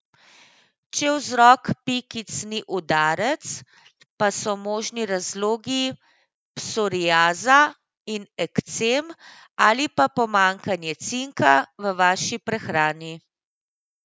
Če vzrok pikic ni udarec, pa so možni razlogi psoriaza in ekcem ali pa pomanjkanje cinka v vaši prehrani.